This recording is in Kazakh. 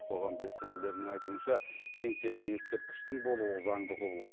қоғам белсенділерінің айтуынша еңселі ескерткіштің болуы заңды құбылыс